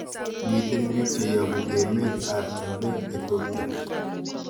Miten pik che yabu emet ab chumbek Ethipia